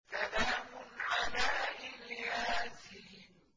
سَلَامٌ عَلَىٰ إِلْ يَاسِينَ